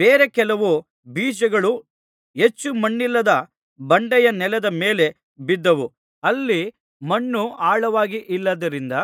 ಬೇರೆ ಕೆಲವು ಬೀಜಗಳು ಹೆಚ್ಚು ಮಣ್ಣಿಲ್ಲದ ಬಂಡೆಯ ನೆಲದ ಮೇಲೆ ಬಿದ್ದವು ಅಲ್ಲಿ ಮಣ್ಣು ಆಳವಾಗಿಲ್ಲದ್ದರಿಂದ